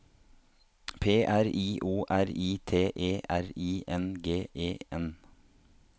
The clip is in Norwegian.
P R I O R I T E R I N G E N